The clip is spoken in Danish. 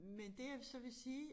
Men det jeg så vil sige